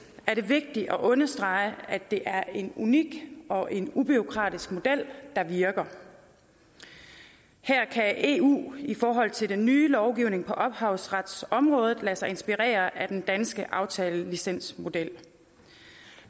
er det vigtigt at understrege at det er en unik og en ubureaukratisk model der virker her kan eu i forhold til den nye lovgivning på ophavsretsområdet lade sig inspirere af den danske aftalelicensmodel